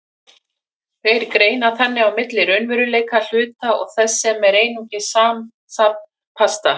Þeir greina þannig á milli raunverulegra hluta og þess sem er einungis samansafn parta.